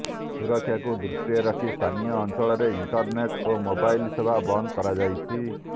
ସୁରକ୍ଷାକୁ ଦୃଷ୍ଟିରେ ରଖି ସ୍ଥାନୀୟ ଅଞ୍ଚଳରେ ଇଣ୍ଟରନେଟ୍ ଓ ମୋବାଇଲ ସେବା ବନ୍ଦ କରାଯାଇଛି